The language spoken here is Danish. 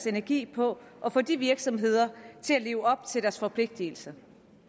energien på at få de virksomheder til at leve op til deres forpligtelse